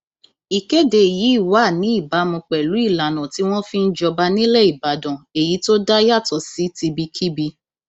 ìkéde yìí wà ní ìbámu pẹlú ìlànà tí wọn fi ń jọba nílẹ ìbàdàn èyí tó dá yàtọ sí tibikíbi